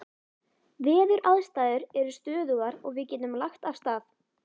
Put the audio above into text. Veðuraðstæður eru stöðugar og við getum lagt af stað.